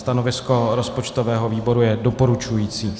Stanovisko rozpočtového výboru je doporučující.